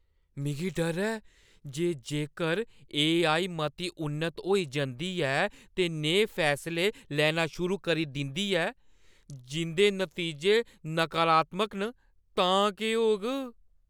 मिगी डर ऐ जे जेकर एआई मती उन्नत होई जंदी ऐ ते नेहे फैसले लैना शुरू करी दिंदी ऐ जिंʼदे नतीजे नकारात्मक न, तां केह् होग।